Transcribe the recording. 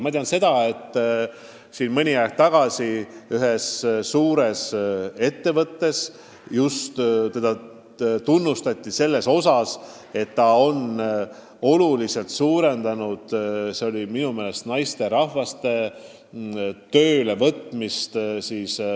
Mõni aeg tagasi tunnustati üht suurt ettevõtet selle eest, et juhtkond on oluliselt suurendanud vanuses 55+ naisterahvaste töölevõtmist.